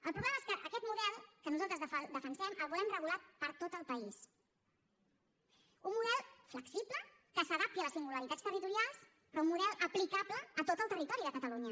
el problema és que aquest model que nosaltres defensem el volem regular per a tot el país un model flexible que s’adapti a les singularitats territorials però un model aplicable a tot el territori de catalunya